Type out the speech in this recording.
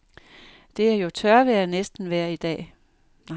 Det er jo tørvejr næsten vejr dag.